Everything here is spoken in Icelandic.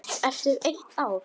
Eftir eitt ár?